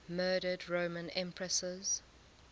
murdered roman empresses